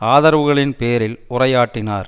ஆதரவுகளின் பேரில் உரையாற்றினார்